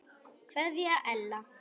Kveðja Ella.